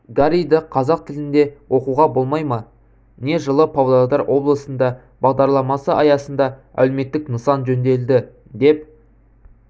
гарриді қазақ тілінде оқуға болмай ма не жылы павлодар облысында бағдарламасы аясында әлеуметтік нысан жөнделді деп